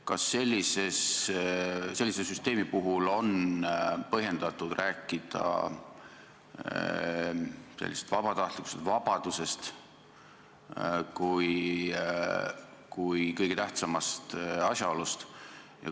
Kas sellise süsteemi puhul on põhjendatud rääkida sellisest vabatahtlikkusest, vabadusest kui kõige tähtsamast asjaolust?